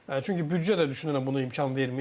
Çünki büdcə də düşünürəm bunu imkan vermir.